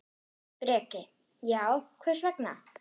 Breki: Já, hvers vegna?